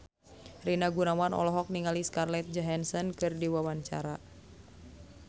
Rina Gunawan olohok ningali Scarlett Johansson keur diwawancara